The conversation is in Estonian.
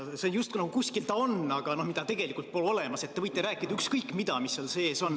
See justkui nagu kuskil on, aga tegelikult seda pole olemas, nii et te võite rääkida ükskõik mida, mis seal sees on.